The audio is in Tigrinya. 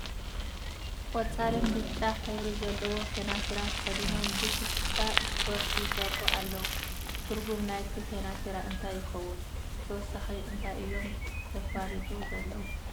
ቆፃልን ብጫ ሕብሪ ዘለዎ ከናቲራ ተከዲኖም ብ ፍሽክታ እስፖርቲ ይሰርሑ ኣለዉ ። ትርጉም ናይቲ ከናቲራ እንታይ ይከውን ብተወሳኪ እንታይ እዮም ዘፋልጡ ዘለዉ ?